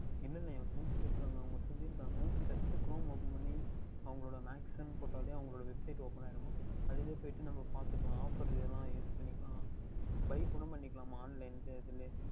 இல்லை இல்லை என் Friends கேட்டு இருக்கின்றார்கள் அவர்கள் சொல்லி இருக்கின்றார்கள் Just Crome Open பண்ணி அவர்களுடைய Max என்று போட்டாலே அவர்களுடைய Website Open ஆகின்றதாம் அதில்லையே போய்ட்டு நாம் பார்த்துக்கொள்ளலாம் Offer எதாவுது Use பண்ணிக்கலாம் Buying கூட பண்ணிக்கலாம் Online லையே அதுலயே